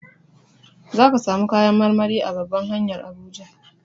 Za ka samu kayan marmari a babban hanyar Abuja.